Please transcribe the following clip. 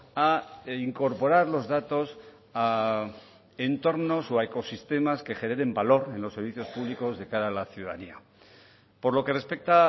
a incorporar los datos a entornos o a ecosistemas que generen valor en los servicios públicos de cara a la ciudadanía por lo que respecta